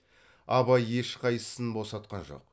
абай ешқайсысын босатқан жоқ